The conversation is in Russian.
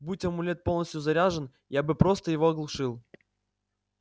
будь амулет полностью заряжен я бы просто его оглушил